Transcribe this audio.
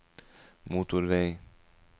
motorvei